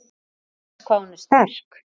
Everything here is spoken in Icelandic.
Undrast hvað hún er sterk.